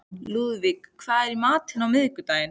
Lúðvík, hvað er í matinn á miðvikudaginn?